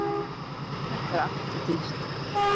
Þetta er alltof dýrt.